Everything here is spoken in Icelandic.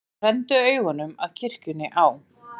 Renndu augum að kirkjunni á